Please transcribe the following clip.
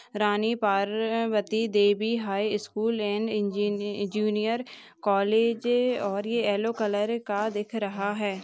Rani Parvati Devi high school and इंजीनि junior college अह और ये येल्लो कलर का दिख रहा है।